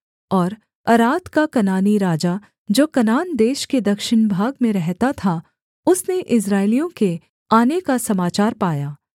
और अराद का कनानी राजा जो कनान देश के दक्षिण भाग में रहता था उसने इस्राएलियों के आने का समाचार पाया